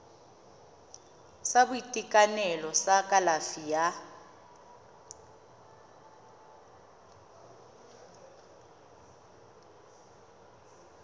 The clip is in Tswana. sa boitekanelo sa kalafi ya